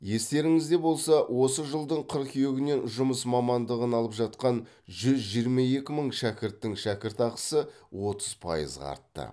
естеріңізде болса осы жылдың қыркүйегінен жұмыс мамандығыны алып жатқан жүз жиырма екі мың шәкірттың шәкіртақысы отыз пайызға артты